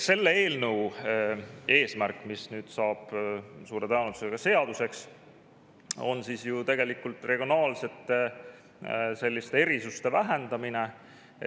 See eelnõu, mis nüüd saab suure tõenäosusega seaduseks, on ju tegelikult mõeldud regionaalsete erisuste vähendamiseks.